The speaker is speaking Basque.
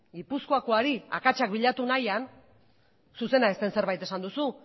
gipuzkoakoari akatsak bilatu nahian zuzena ez den zerbait esan duzu